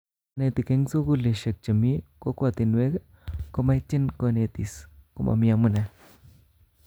Konetik en sugulishek chemii kokwotinwek komaityin konetis komamii amunee